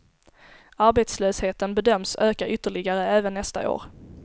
Arbetslösheten bedöms öka ytterligare även nästa år.